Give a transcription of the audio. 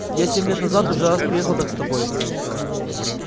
я семь лет назад уже раз приехал так с тобой